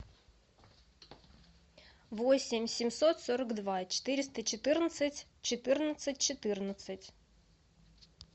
восемь семьсот сорок два четыреста четырнадцать четырнадцать четырнадцать